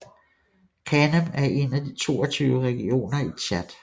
Kanem er en af de 22 regioner i Tchad